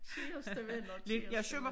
Kæreste venner kæreste ven